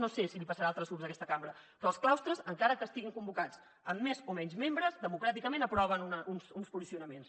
no sé si li passarà a altres grups d’aquesta cambra però els claustres encara que estiguin convocats amb més o menys membres democràticament aproven uns funcionaments